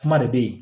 Kuma de bɛ ye